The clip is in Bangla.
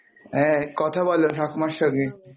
হ্যাঁ, কথা বলো ঠাকুমার সঙ্গে